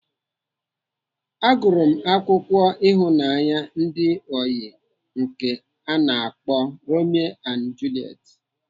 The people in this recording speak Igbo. Agụrụ m akwụkwọ ịhụnanya ndị ọyị nke ana akpọ Romeo and Juliet.